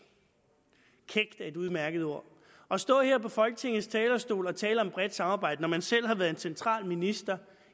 er et udmærket ord at stå her på folketingets talerstol og tale om et bredt samarbejde altså når man selv har været en central minister